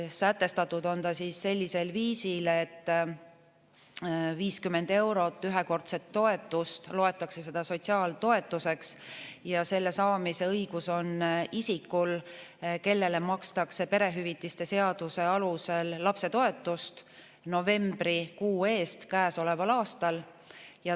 Sätestatud on ta sellisel viisil, et 50 eurot ühekordset toetust loetakse sotsiaaltoetuseks ja selle saamise õigus on isikul, kellele makstakse perehüvitiste seaduse alusel lapsetoetust novembrikuu eest käesoleval aastal.